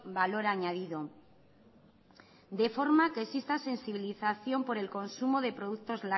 valor añadido de forma que existan sensibilización por el consumo de productos